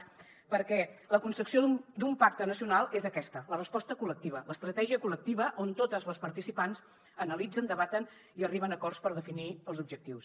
perquè la concepció d’un pacte nacional és aquesta la resposta col·lectiva l’estratègia col·lectiva on totes les participants analitzen debaten i arriben a acords per definir els objectius